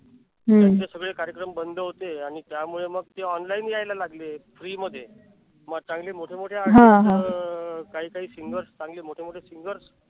सगळे कार्यक्रमबंद होते आणि मग त्यामुळे मग ते online यायला लागले. free मध्ये चांगले मोठे मोठे artist अह काही काही singers चांगले मोठे मोठे singers